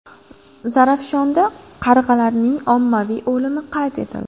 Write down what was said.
Zarafshonda qarg‘alarning ommaviy o‘limi qayd etildi.